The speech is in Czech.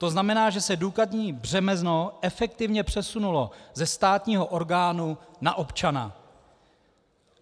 To znamená, že se důkazní břemeno efektivně přesunulo ze státního orgánu na občana.